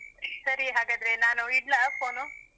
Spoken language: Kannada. ಸರಿ. ಹಾಗಾದ್ರೆ ನಾನು ಇಡ್ಲಾ phone.